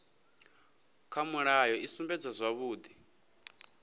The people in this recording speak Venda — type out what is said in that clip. kha mulayo i sumbedza zwavhudi